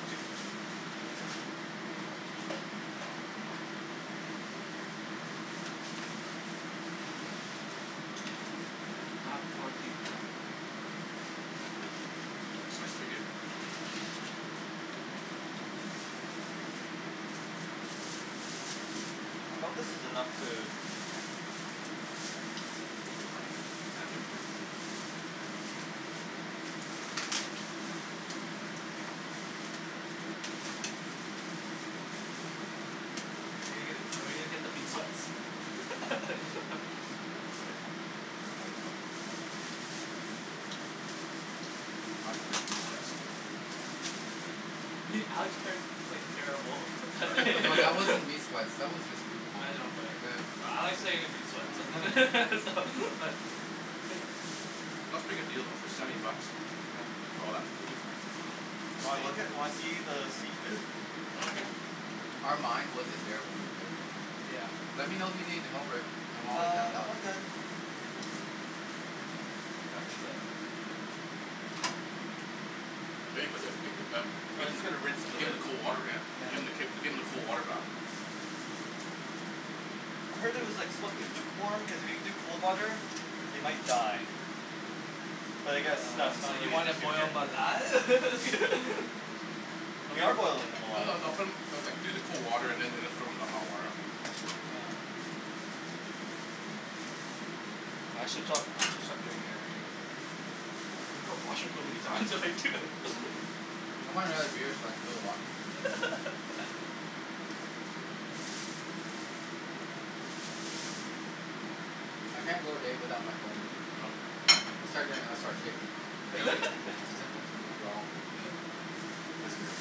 I'll take the first one. Sure. Touch that. I have corn teeth now. The spice is pretty good. I hope this is enough food. Should be fine. Yeah should be fine. Are we gonna, are we gonna get the meat sweats? Good. Control yourself. some of them meat sweats. Alex qu- quite- terrible at No, that wasn't meat sweats. That was just food coma. I know but, but I like saying meat sweats so so but Yeah. That's a pretty good deal though, for seventy bucks. Yeah. For all that food? Yeah. Do you want Steak. look at, you wanna see the seafood? Okay. Our mind wasn't there when we played though. Yeah. Let me know if you need help, Rick. I'm always down Uh, to no, help I'm you. good. Can you pass me the Yeah. Maybe put the give them, I was just gonna rinse 'em a give bit. them the cold water, yeah. Yeah. Give them the k- give them the cold water bath. I heard it was, like, supposed to be lukewarm because if you do cold water, they might die. But I guess that's So not you really an wanna issue boil here. 'em alive? We are boilding them No, alive. no, no, put 'em, no, like, do the cold water and then, then throw them in the hot water. Yeah. I should stop, I should stop drinking actually. I washroom so many times already too. I want another beer so I can go to the washroom. I can't go a day without my phone. No? No. I'll start doing, I start shaking. Really? Yeah. Symptoms of withdrawal. You guys and your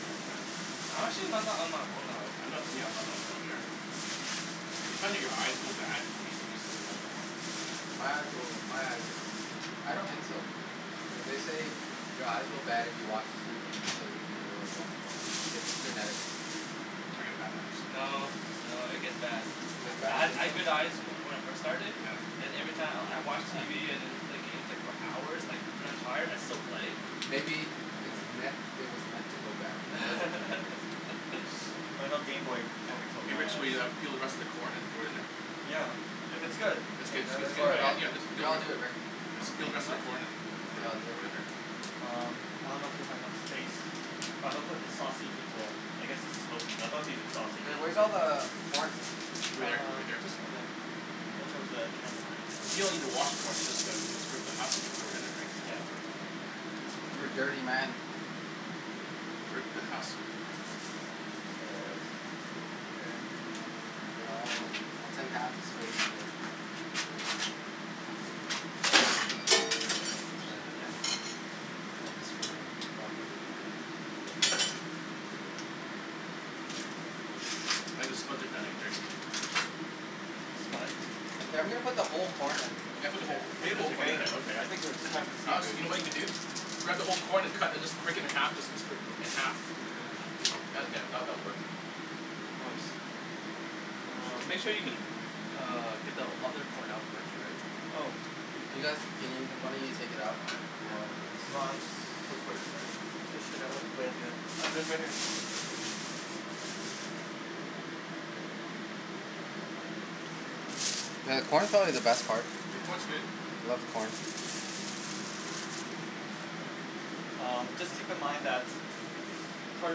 phones, man. I'm actually not that on my phone all I'm the time. not really, yeah, I'm not on my phone either. Do you find that your eyes go bad when you're using your phone that long? My eyes go, my eyes. I don't think so. Yeah, they say your eyes go bad if you watch TV, you play the computer, or you go on your phone. It's genetics. Oh, I get bad eyes. No, no. It gets bad. It I, gets I bad? You ha- I think so? had good eyes from, when I first started, Yeah. then every time I'll, I watch TV and then play games, like, for hours, like, when I'm tired I still play. Maybe, it's No. meant, it was meant to go bad because of genetics. I know gameboy Hey, probably killed hey my Rick, so eyes. we uh peel the rest of the corn and throw it in there? Yeah. If it's good, No, no, that's then good. all right. I get- no, I'll do it Rick. Just Okay. peel the Do rest you of mind? the corn and, and throw it, Here, I'll do it. throw it in there. Um. I don't know if you have enough space. It's fine. But I'm gonna put the sausage- well, I guess its smokies, I thought these were Hey, sausages, where's all but the corn? Over there, Uh, right there. just in there. Watch out for the camera. You don't even wash the corn. You just go, you just rip the husk and throw it in there, right? So. Yeah. You're a Uh. dirty man. Rip the husk. Here, I'll, I'll take half the space, Rick. Sorry. You okay? I'm destroying property. I think the spuds are done What? Hey, I'm gonna put the whole corn in. Yeah, put the whole co- put the whole Potatoes are corn in. getting there, okay. I think we're, it's time for the Alex, seafood. you know what you can do? Grab the whole corn and cut and just break it in half and just sp- split it in half. Oh yeah. That'll get, that, that'll work. Nice. And Um. make sure you can uh get the other corn out first, right? Oh. You guys, can y- one of you take it out while I do this? Put, put it there. Fish it out with Oh right here. Yeah, the corn's probably the best part. The corn's good. I love the corn. Um, just keep in mind that Part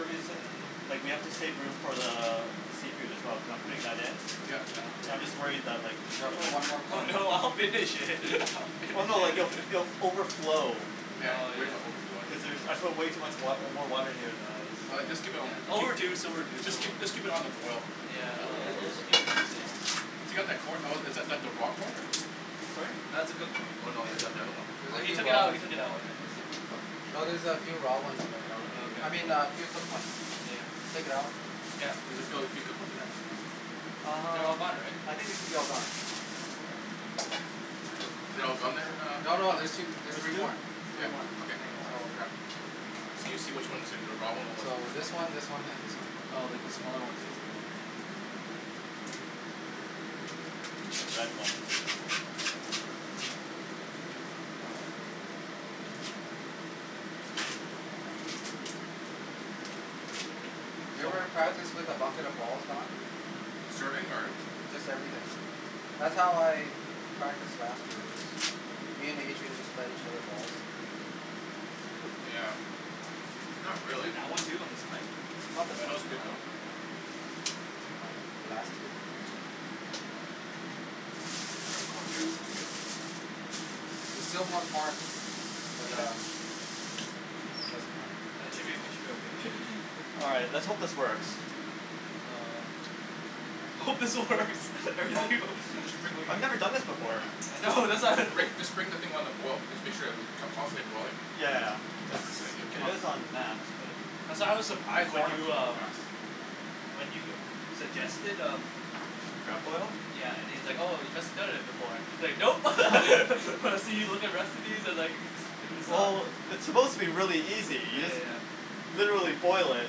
of the reason, like we have to save room for the, the seafood as well cuz I'm putting that in. Yeah. Yeah, I'm just worried that like Yo, I'll put one more Oh corn in. no, I'll finish it. I'll finish Oh no. Like if, it. it'll f- overflow. Yeah, he's worried about overflowing. Cuz there's, I put way too much wa- uh, more water in here than I was All right, just keep it on the It'll b- reduce, keep, it'll reduce. just Don't worry. keep, just keep it on the boil. Yeah. It'll, It'll, will it'll, reduce. it'll, it'll keep reducing. Oh. If you got that corn, oh is that, that the raw corn or? Sorry? That's a cooked corn. Oh no, It is the oth- the other one. cooked. Oh. No, he took it out. He took it Oh out. okay. It should be cooked. No, there's a few raw ones in there. Here, I'll let Oh okay, you I mean, a cool. few cooked ones. Yeah. Take it out. Yeah. Does it feel like few cooked ones in there? They're Um, all gone, right? I think it should be all gone. Are they all gone there, No, uh no. Alex? There's two, there's three There's two? more. Yeah, Three more. okay, There's more. So grab. So you see which ones are the, the raw one or what's the So, cooked this one. one, this one, and this one. Oh like, the smaller one basically. The red one. You ever practice with a bucket of balls, Don? Serving? Or? Just everything. That's how I practiced last year. I just, me and Adrian just fed each other balls. Yeah. Not really. That one too? On the side? Oh, that was good though. Here, last two. That's good. Grab a corn, guys. It's good. There's still more corn. But Mhm. um I'm sure it's fine. I think should be, it should be okay. All right. Let's hope this works. Um. I hope this works. Just bring I've never done this before. I know. that's why Rick, just bring the thing on the boil. Just make sure that it, con- constantly boiling. Yeah. It's, keep it on is on max, but That's why I was The surprised corn when will you cook real uh fast. When you suggested, uh Crab boil? Yeah, and he's like, "Oh you must have done it before." He's like, "Nope." I see you with the recipes. I was, like, in the Sub. Well, it's supposed to be really easy. You Yeah, yeah, just yeah. literally boil it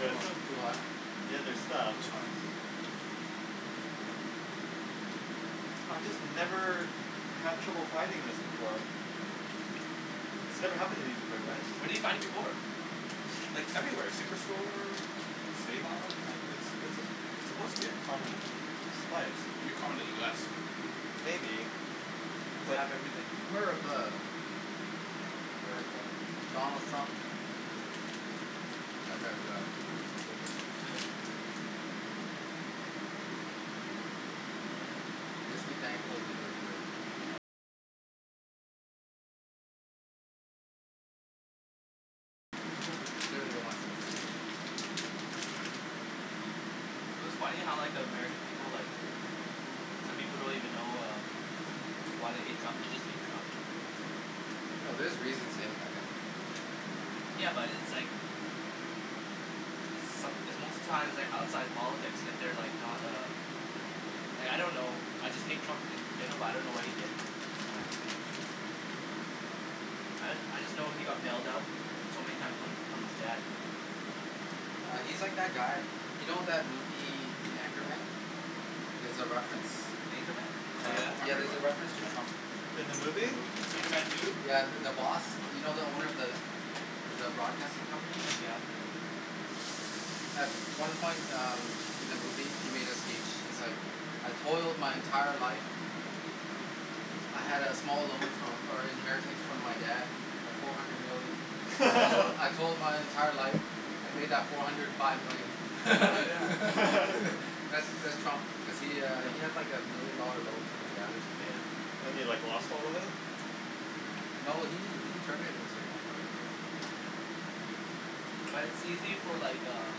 with, Wow, too hot. the other stuff. It's hot. I just never had trouble finding this before. This never happened to me before, guys. Where did you find it before? Like everywhere. Superstore? save-on? Like, it's, it's a, it's supposed to be a common spice. Maybe common in the US. Maybe. Cuz they But have everything. America. America. Donald Trump. That guy's uh, coo coo for Coco Puffs. Mhm. Just be thankful we live here. Clearly they want to instigate it. It was funny how like the American people, like, some people don't even know uh why they hate Trump. They just hate Trump. No, there's reasons to hate that guy. Yeah, but it's like It's some- it's most of the time it's, like, outside politics if they're, like, not uh Like I don't know, I just hate Trump and they, but I don't know what he did, right? I, I just know he got bailed out so many time from, from his dad. Uh he's like that guy. You know that movie, The Anchorman? There's a reference. Anchorman? Uh Oh yeah. I yeah. heard There's about a it. reference to Trump. In the In the movie? movie. Anchorman two? Yeah, the, the boss. You know the owner of the, of the broadcasting company? Yeah. At one point um, in the movie, he made a speech. He's like, "I told my entire life. I had a small loan fro- or inheritance from my dad of four hundred million. I told, I told my entire life and made that four hundred five million." That's, that's Trump cuz he uh he had like a million dollar loan from his dad or something. Yeah. And he, like, lost all of it? Yeah. No, he, he turned it into an empire though. Mhm. Like it's easy for, like, uh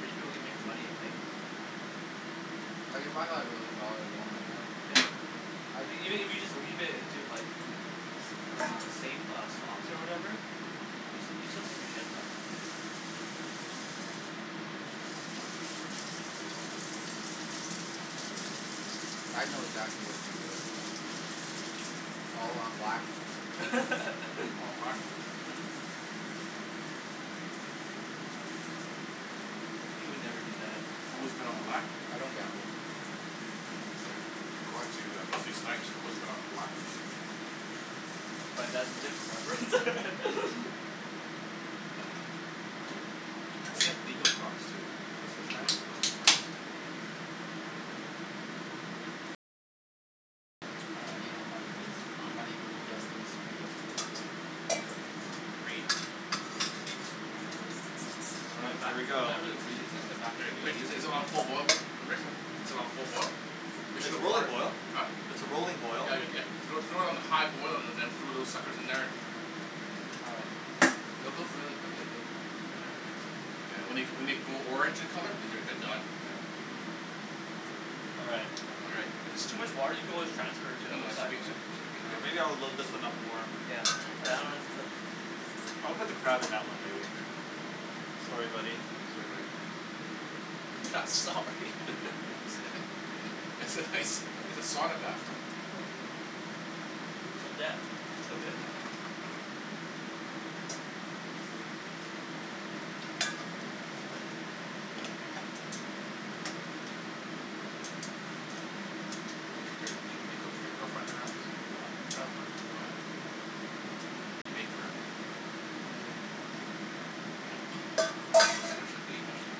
rich people to make money, right? Mhm. Like if I got a million dollar loan right now Yeah. I'd Like, even if you just leave it into like s- uh safe uh stocks or whatever, you s- you still make a shit ton. I'd know exactly what to do with it. Mhm. All on black. All on black. He would never do that. Always No. bet on black? I don't gamble. According to uh, Wesley Snipes, always bet on black. But that's a different reference. I heard he had legal problems too. Wesley W- Snipes? Wesley Snipes. Uh, you know money things, money Hm? does things to people. Greed. Yeah. All right. Here we go. Good. Rick, is it, is it on full boil, Li- Rick? Is it on full boil? Make sure the It's roller water- boil. huh? It's a rolling boil. Yeah, Rick, yeah. Throw, throw it on high boil and then throw those suckers in there. All right. They'll cook really quickly too. Yeah. Yeah, when they g- when they go orange in colour, they're, they're, they're done. All right. All right. If it's too much water, you can always transfer it to, No, no, it should right? be, it should, it should be Yeah, good. maybe I'll load this one up more. Yeah. Yeah, Yeah. that one looks I'll put the crab in that one, maybe. Okay. Sorry, buddy. Sorry, buddy. You're not sorry. It's a nice, it's a sauna bathroom. Till death. Till death. Yeah. Do you cook your, do you, do you cook for your girlfriend at her house? Yeah, all the time. Oh yeah. Yeah. What do you make for her? Anything she wants. What? What, what does she like to eat usually?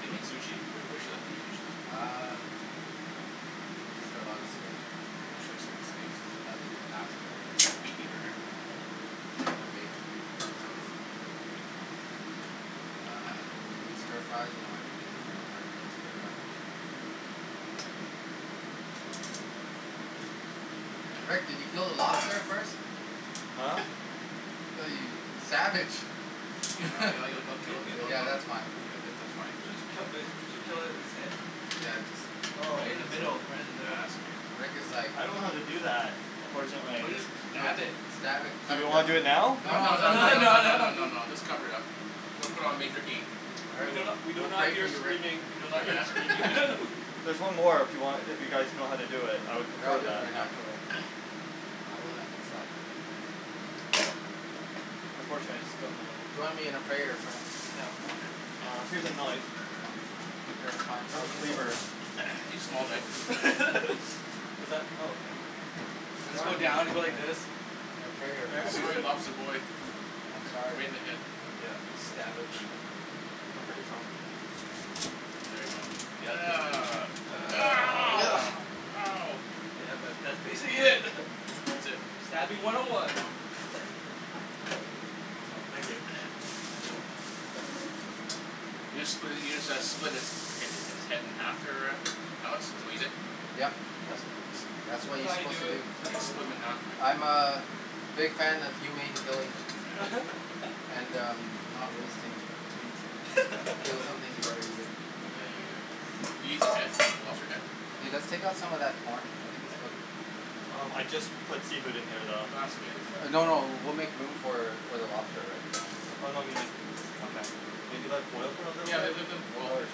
Can you eat sushi? What, what does she like to eat usually? Um. I make her a lot of steak. Oh she likes, like, Yeah. steaks? Sometimes I do pasta. Meat eater, eh? Um. I bake. Sometimes. Hm. Uh and we do stir fries, you know everything can be Oh turned into a yeah. stir fry. Rick, did you kill the lobster first? Huh? Ew, you, you savage. Yeah. Ye- Yeah, it'll, it'll, it'll kill, it'll kill yeah, it that's fine. Yeah, that's, that's fine. Supposed to kill uh are you suppose to kill it, its head? Yeah, Oh. Right in the just middle, right in the middle. Rick was like I don't know how to do that, Or unfortunately. Or just, just you know, stab it. stab it. Do Cut you it wanna down. do it now? No, No, no, no, no, no, too no, No, late. no, no, no, no. no, no, just cover it up. Put it, put it on major heat. All We right. do We'll, not, we do we'll not pray for hear you Rick. screaming, we do We'll not pray, yeah hear screaming. There's one more if you want, if you guys know how to do it. I would Yeah, I'll prefer do it that, right now. actually. Yeah, we'll end its life. Unfortunately, I just don't know Join me in a prayer, friends. Yeah. Okay. Uh, here's a knife. Okay, fine. I'll use Is that? Oh okay. Or just go Join me now down, you go like this. in a prayer, friends. Sorry, lobster boy. I'm Right sorry. in the head. Yeah. Stab him. Don't cut yourself. There you go. Ugh. Ow. Ow. Yeah, but that's basically it. That's it. Stabbing one oh one. Oh, thank you. You just split it, you just uh split its, hi- hi- his head in half there, uh Alex? Is what you did? Yep. Yes. That's what That's you're how you supposed do to it, do. that's how You you do split it. him in half, Oh. right? I'm a big fan of humane killing. And um, not wasting meats. You kill something, you better eat it. Yeah, yeah, yeah, yeah. Do you eat the head? The lobster head? Hey, let's take out some of that corn. I think it's cooked. Oh, I just put seafood in here, though. Ah, it's okay. Just let it No, boil. no. We'll make room for, for the lobster, right? Oh no, I mean like, okay. Maybe let it boil for a little Yeah, bit? let- let- let it boil. Okay,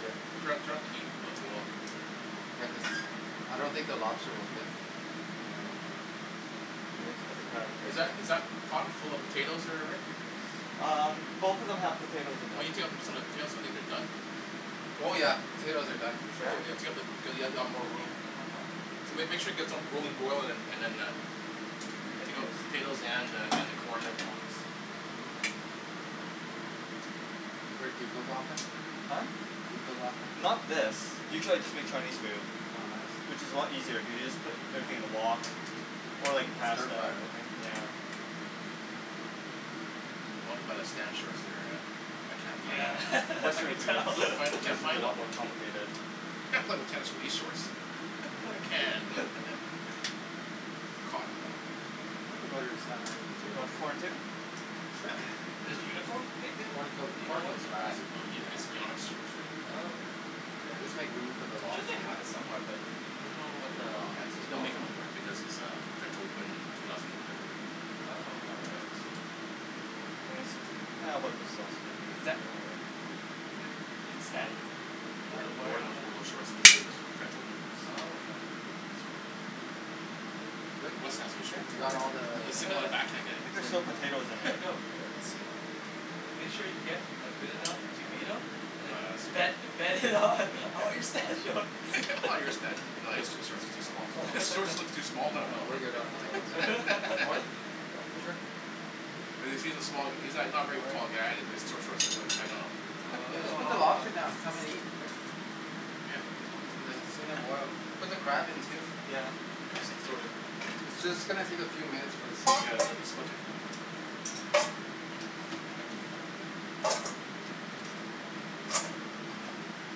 sure. Turn up, turn up the heat, let it boil. Yeah, cuz uh, I don't think the lobster will fit. Yeah. just put the crab in here, Is that, is that too. pot full of potatoes there, Rick? Um, both of them have Why potatoes in them. don't you take out the, some of the potatoes? I think they're done. Oh yeah. Potatoes are done for sure. Yeah? Yeah, yeah, take out the, cuz you'll ha- you'll have more room. Okay. So make, make sure you get some rolling boil and, and then uh, take out the potatoes and uh, and the corn. Rick, do you cook often? Huh? Do you cook often? Not this. Usually I just make Chinese food. Oh nice. Which is a lot easier, you can just put everything in a wok. Or, And like, stir pasta fry, or something. right? Yeah. I wanna buy the Stan shorts there, uh but I can't find Yeah. them. I Western can food tell. Can't find, is can't usually a find them. lot more complicated. Can't play with tennis in these shorts. I can, but. Cotton though. I don't think there's that many You potatoes. want corn, too? Sure. Does Uniqlo make it? Corn cook, Do you know corn what cooks No, fast. brand? no, Ye- it's Yonex shorts, right? Oh okay. Yeah, just make room for the I'm sure they lobster, yeah? have it somewhere but, you, you don't know what the Well, it's, and they don't make it no more because it's uh French Open two thousand whatever, right? Oh. Is that Did Stan Uh Wore, wear it wore those, on wore those uh short to win his French Open. Oh okay. So. Good? Wes has those shorts. You got all the s- a back hand guy. I think is there's there still anymore? potatoes in there as well. Let's see. Make sure you get uh good enough to beat him and then No, uh, he's too bet, good. bet him on all your Stan shorts. All your Sta- no, his shorts are too small. His Oh. shorts look too small on. No, we're good on potatoes. Corn? Yeah. Sure. Cuz, cuz he's a small, he's not, not a very tall guy and his short, shorts look, look tight on him. Yeah, just Oh put the lobster down. Come and eat, Rick. Yeah. Yeah, it's gonna boil. Put the crab in too. Yeah. It's just gonna take a few minutes for the Yeah, seafood. the, the, the spuds are done.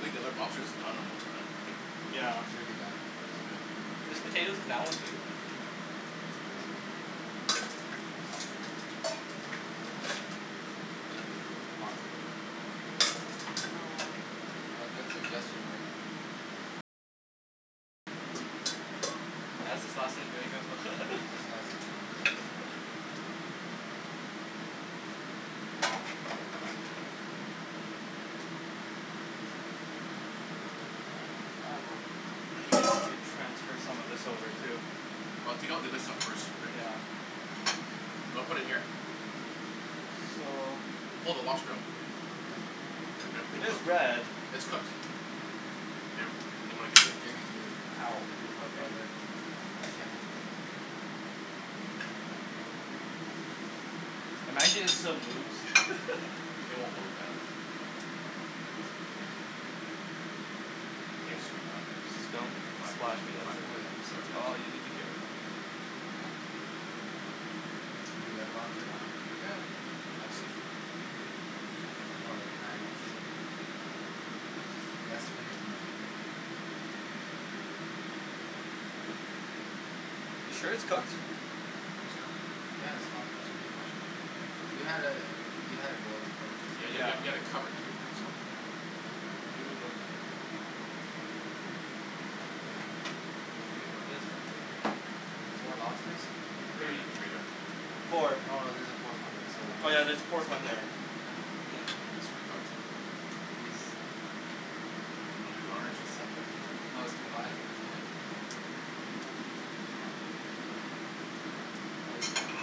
Think the other lobster's done almost, man. Yeah. Should be done. Soon. There's potatoes in that one too? Ooh. Hot. No. Oh good suggestion, Rick. That's his last name, there you Oh go. his last name. transfer some of this over, too. Well, take out the other stuff first, Rick. You wanna put it in here? So Pull the lobster out. Yeah. They're good, they're It is cooked. red. It's cooked. Hey, Rick. Do you? Can Ow. you give up, Okay. brother? Uh huh. Imagine it still moves. It won't move, man. I think it should be done. It's been in Don't there for five, splash ten, me up five, there. Oh yeah. seven That's minutes. all you need to care about. More? Do you like lobster, Don? Yeah. All seafood. I'm more of a fan of shrimp. Less finicky to eat, Yeah. so. You sure it's cooked? Think it's cooked? Yeah, it's fine. Should be fine. Should be fine. You had it, you had it boiling quite a bit. Yeah, you had, you Yeah. had, you had it covered too, so. the Oh. Oh. I was thinking about this part here. Oh, four lobsters? Three Three. there. No, Four. no, there's there a fourth one there. So one Oh l- yeah, there's a fourth one here. Oh yeah, Looks pretty I cooked. think He's, Wanna do the honors? he's suffered. No, it's too hot. Yeah. Is it too hot? Oh. Yeah. It's too hot. I'll eat corn.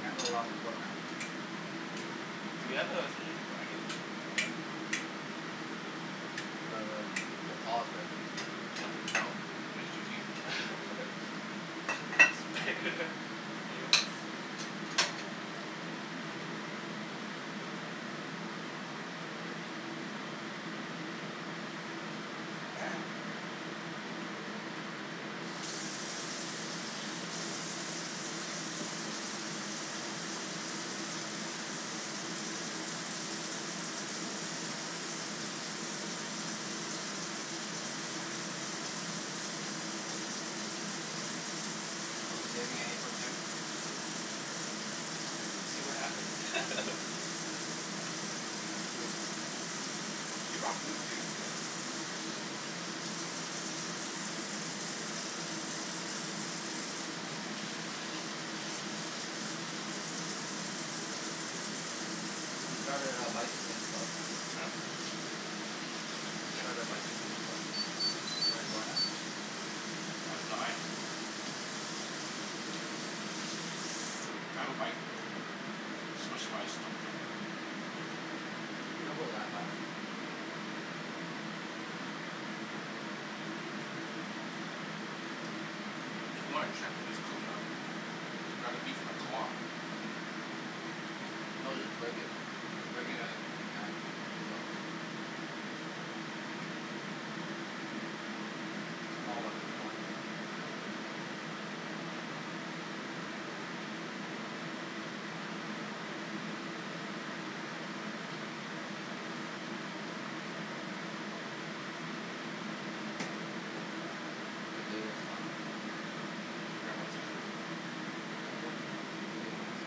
Can't Yep. go wrong with corn, man. Mhm. Do we have uh something to crack it, by the way? The um, the claws, right? Yeah. No. We use your teeth. Potato. Are we saving any for Kim? We'll see what happens. Hm. That's true. She bought food too, so. Hm? We started a bicycling club. Huh? Who We did? started a bicycling club. You wanna join us? Uh, I'd die. I have a bike though. Specialized Mhm. We don't go that fast. Oh. If you wanna check if it's cooked or not Grab the meat from the claw. No, just break it. Just break it uh in half. You Mm. can tell if it's cooked. I'm all about the corn though. Mhm. Oh. Potato's hot. Could you grab? Do the honors.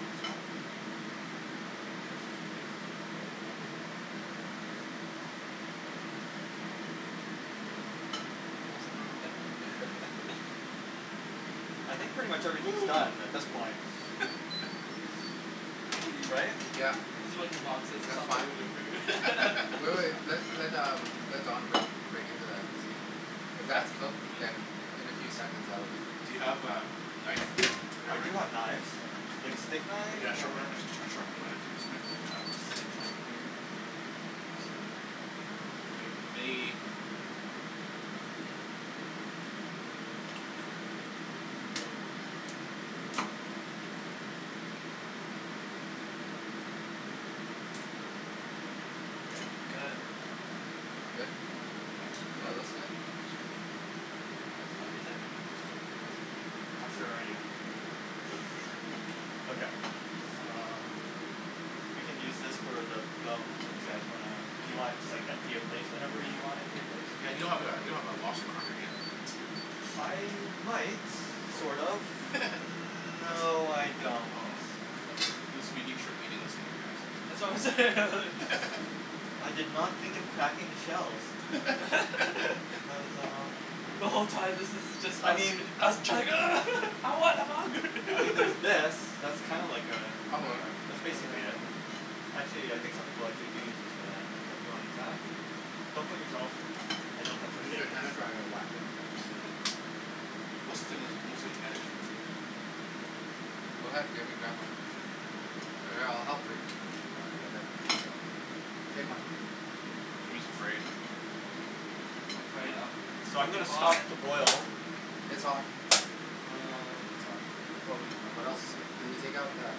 Oh it's hot. Have some rubberband. I think pretty much everything's done at this point. Wee. Right. Yeah. This is when your mom says, That's "Stop fine. playing with your food." Wait, wait. Let, let um, let Don break, break into that and see. If Wreck? that's cooked, You mean? then in a few seconds that will be Do cooked. you have a knife there, I do Rick? have knives. Like a steak knife? Yeah, a sharp knife, Or? a sh- sh- sharp one. I'm gonna cut this right, right in half, I think. Yeah. Nice. It may, it may Good. Good? Yeah, it's Yeah, it looks cooked. good. It's cooked. Yeah, it's fine. It's cooked. Yeah, How it's cooked. sure are you? Pretty cooked for sure. Okay. Um You can use this for the bones if you guys wanna, if you want, just, like, empty your plate whenever you wanna empty your plates. Yeah, Yeah, you you don't don't have have that, a Oh. don't have a lobster cracker, do you? I might, Oh. sort of. Mm- That's, no, I don't. oh. That's wha- this will be neat trick eating this thing here, That's guys. what I'm saying. I did not think of cracking the shells. There's um The whole time this is just I us. mean Us trying, "Ugh. I want, I want." I mean there's this. That's kinda like uh, That'll work. that's Oh basically yeah. it. Actually, yeah, I think some people, like, they do use this for that, so if you wanna use that? Oh. Don't cut yourself. I don't have first Use aid your kits. tennis racket, wack it. Most of the thing that's, mostly. Go ahead, Jimmy, grab one. All right, I'll help Rick. you get everything else up. Take one. Jimmy's afraid. I'm afraid um, it's So I'm freaking gonna stop hot. the boil. It's hot. It's hot. Um. Can probably Uh, what else. Can we take out that